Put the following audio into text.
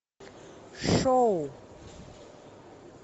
шоу